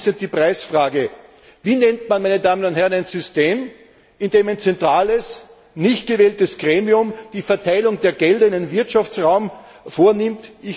Und abschließend die Preisfrage Wie nennt man, meine Damen und Herren, ein System, in dem ein zentrales, nicht gewähltes Gremium die Verteilung der Gelder in einem Wirtschaftsraum vornimmt?